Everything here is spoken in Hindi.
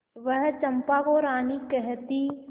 वह चंपा को रानी कहती